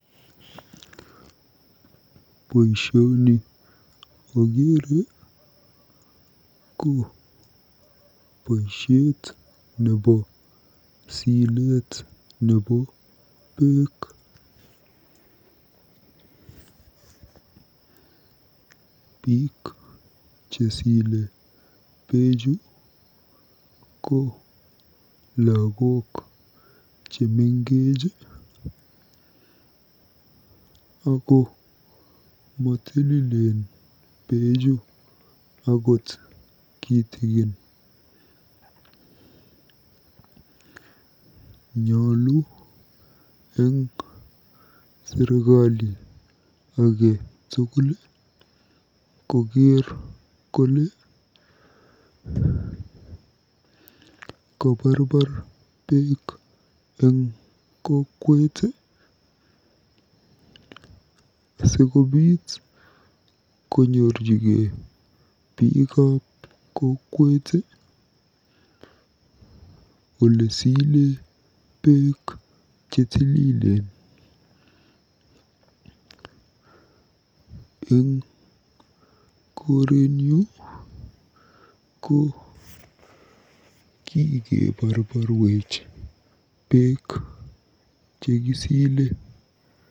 Boisioni akeere ko boisiet nebo sileet nebo beek. Biik chesile beechu ko lagok chemengech ako motililen beechu akot kitikin. Nyolu eng serikali ake tugul koker kole kabarbar beek eng kokwet asikobiit konyorjigei biikab kokwet olesile beek chetililen. Eng korenyu, ko kikeborborwech beek chekisile.